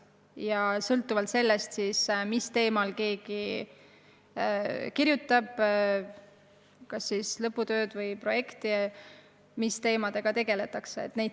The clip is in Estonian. See sõltub ka sellest, mis teemal keegi kas lõputööd või projekti kirjutab, mis teemadega tegeldakse.